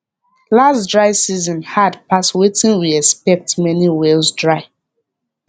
last dry season hard pass wetin we expect many wells dry